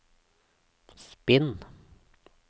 spinn